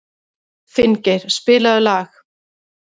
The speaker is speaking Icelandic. Finngeir, spilaðu lag.